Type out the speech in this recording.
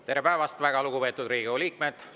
Tere päevast, väga lugupeetud Riigikogu liikmed!